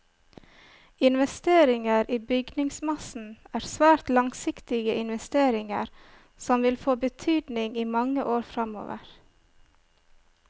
Investeringer i bygningsmassen er svært langsiktige investeringer, som vil få betydning i mange år framover.